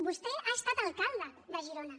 vostè ha estat alcalde de girona